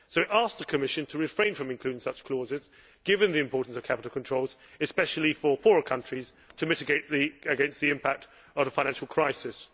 So we ask the Commission to refrain from including such clauses, given the importance of capital controls, especially for poorer countries, to mitigate the impact of the financial crisis.